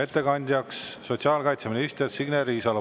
Ettekandjaks palun sotsiaalkaitseminister Signe Riisalo.